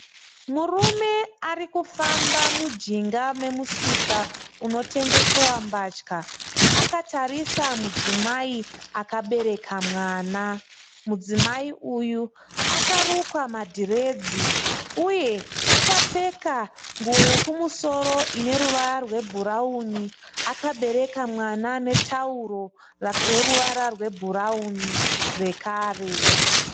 Murume ari kufamba mujinga memusika unotengesewa mbatya. Akatarisa mudzimai akabereka mwana. Mudzimai uyu akarukwa madhiredzi uye akapfeka nguwo yekumusoro ine ruvara rwebhurawuni akabereka mwana netauro reruvara rwebhurawini zvekare.